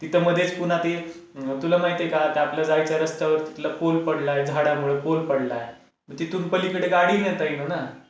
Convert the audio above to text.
तिथं मध्येच पुन्हा ते, तुला माहिती आहे का ते आता आपलं जायचा रस्त्यावर तिथला पोल पडला आहे झाडामुळे पोल पडला आहे. तिथून पलीकडे गाडी नेता येईना ना.